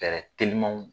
Fɛɛrɛ telimanw